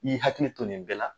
N'i hakili to nin bɛɛ la.